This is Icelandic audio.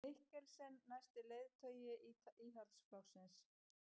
Mikkelsen næsti leiðtogi Íhaldsflokksins